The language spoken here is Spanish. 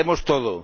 Sabemos todo.